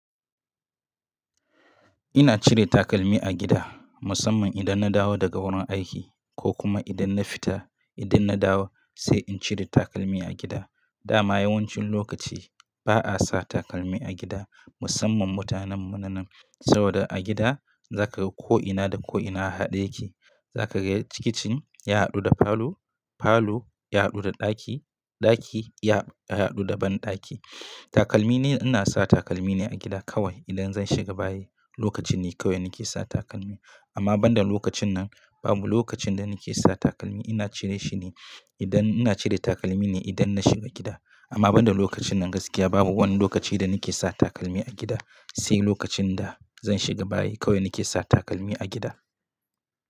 Ina cire takalmi a gida musamman idan na dawo daga wurin aiki ko kuma idan na fita. Idan na dawo sai in cire takalmi a gida. Dama yawancin lokaci ba a sa takalmi a gida musamman mutanen mu na nan. Sabida a gida zaka ga ko'ina da ko'ina a haɗe yake. Zaka ga kicin ya haɗu da falo, falo ya haɗu da ɗaki, ɗaki ya haɗu da banɗaki. Takalmi ne, ina sa takalmi ne a gida kawai idan zan shiga bayi. Lokacin ne kawai nake sa takalmi, amma banda lokacin nan babu lokacin da nake sa takalmi. Ina cire shi ne idan ina cire takalmi ne idan na shiga gida. Amma banda lokacin nan gaskiya babu wani lokaci da nake sa takalmi a gida sai lokacin da zan shiga bayi kawai nake sa takalmi a gida.